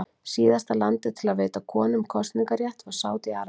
Síðasta landið til að veita konum kosningarétt var Sádi-Arabía.